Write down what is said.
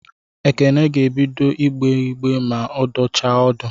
Ekene ga-ebido ịgbe ma ọ dọchaa ọdụ